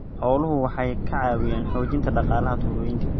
Xooluhu waxay ka caawiyaan xoojinta dhaqaalaha tuulooyinka.